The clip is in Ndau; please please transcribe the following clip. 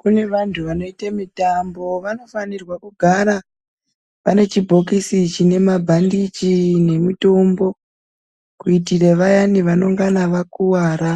Kune vandu vanoita mutambo vanofanira kugara vane chibhokisi chine mabhandichi nemutombo kuitira vayani vanongena vakuwara